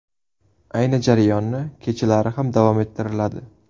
Ayni jarayonni kechalari ham davom ettiriladi.